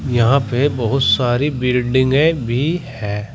यहां पे बहुत सारी बिल्डिंगें भी है।